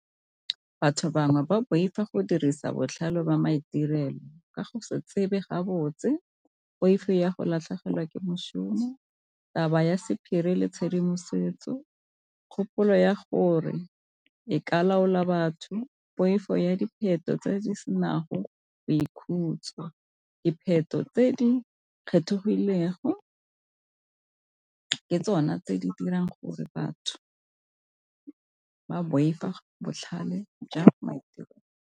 Batho bangwe ba boifa go dirisa botlhale jwa maitirelo ka go se tsebe ga botse, poifo ya go latlhegelwa ke mošomo, taba ya sephiri le tshedimosetso kgopolo ya gore e ka laola batho, poifo ya dipheto tse di senang go boikhutso, dipheto tse di kgethegilego ke tsona tse di dirang gore batho ba boifa botlhale jwa maitirelo.